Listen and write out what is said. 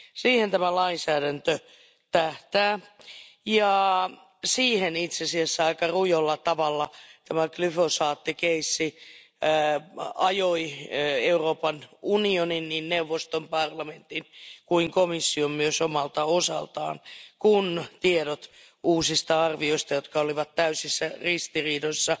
Siihen tämä lainsäädäntö tähtää ja siihen itse asiassa aika rujolla tavalla tämä glyfosaattitapaus ajoi Euroopan unionin niin neuvoston, parlamentin, kuin komission omalta osaltaan kun tiedot uusista arvioista, jotka olivat täysin ristiriitaisia